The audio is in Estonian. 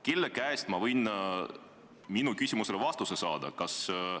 Kelle käest ma võiksin oma küsimusele vastuse saada?